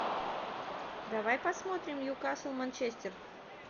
давай посмотрим ньюкасл манчестер